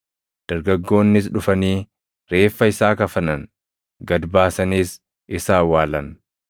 Dargaggoonnis dhufanii, reeffa isaa kafanan; gad baasaniis isa awwaalan.